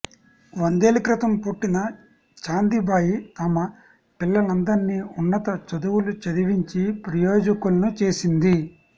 వందేళ్ల క్రితం పుట్టిన చాందిబాయి తమ పిల్లలందరిని ఉన్నత చదువులు చదివించి ప్రయోజకులను చేసింది